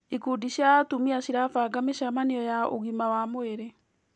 Ikundi cia atumia cirabanga mĩcemanio ya ũgima wa mwĩrĩ.